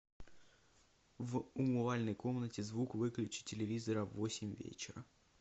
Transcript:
в умывальной комнате звук выключи телевизора в восемь вечера